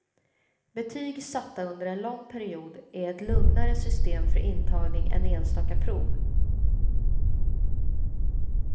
Betyg satta under en lång period är ett lugnare system för intagning än enstaka prov.